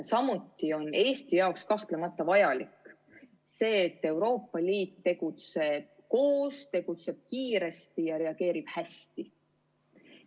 Samuti on Eesti jaoks kahtlemata vajalik see, et Euroopa Liit tegutseb koos, tegutseb kiiresti ja reageerib hästi.